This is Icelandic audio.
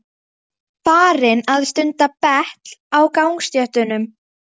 Farinn að stunda betl á gangstéttunum!